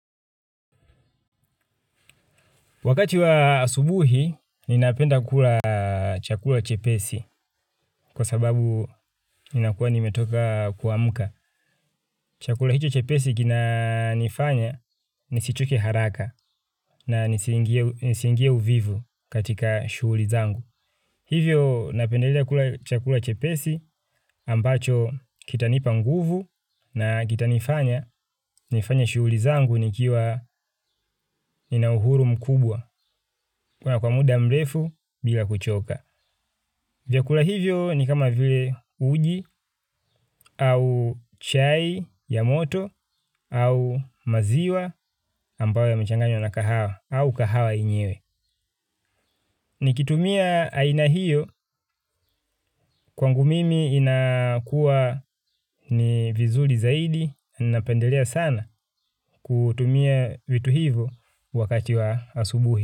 Wakati wa asubuhi, ninapenda kula chakula chepesi kwa sababu ninakuwa nimetoka kuamka. Chakula hicho chepesi kinanifanya nisichoke haraka na nisiingie uvivu katika shughuli zangu. Hivyo, napendelea kula chakula chepesi ambacho kitanipa nguvu na kitanifanya, nifanye shughuli zangu nikiwa nina uhuru mkubwa. Kuna kwa muda mrefu bila kuchoka. Vyakula hivyo ni kama vile uji au chai ya moto au maziwa ambayo yamechanganywa na kahawa au kahawa yenyewe. Nikitumia aina hiyo kwangu mimi inakua ni vizuri zaidi na napendelea sana kutumia vitu hivo wakati wa asubuhi.